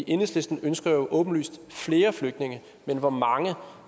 enhedslisten ønsker jo åbenlyst flere flygtninge men hvor mange jeg